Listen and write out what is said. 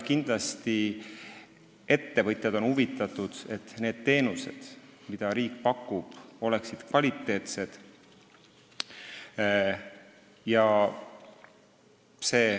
Kindlasti on ettevõtjad huvitatud sellest, et need teenused, mida riik pakub, oleksid kvaliteetsed.